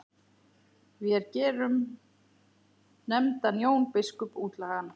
Vér gerum nefndan Jón biskup útlægan!